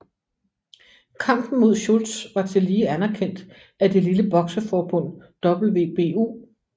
Kampen mod Schultz var tillige anerkendt af det lille bokseforbund WBU